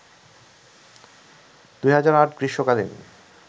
২০০৮ গ্রীষ্মকালীন